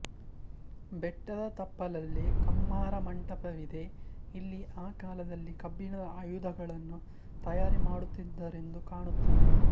ಬೆಟ್ಟದ ತಪ್ಪಲಲ್ಲಿ ಕಮ್ಮಾರ ಮಂಟಪವಿದೆ ಇಲ್ಲಿ ಆ ಕಾಲದಲ್ಲಿ ಕಬ್ಬಿಣದ ಆಯುಧಗಳನ್ನು ತಯಾರಿ ಮಡುತ್ತಿದ್ದರೆಂದು ಕಾಣುತ್ತದೆ